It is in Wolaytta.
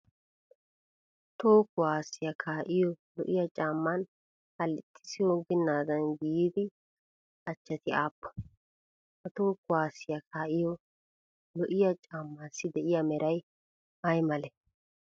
Toho kuwaasiyaa kaa'iyoo lo'iyaa caammaan hallixissi onggennaadan giigida achchati aappunee? Ha toho kuwaasiyaa kaa'iyo lo'iyaa caammaasi de'iyaa meray ayi malee?